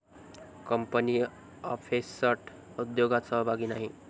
Company offset उद्योगात सहभागी नाही.